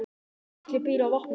Atli býr á Vopnafirði.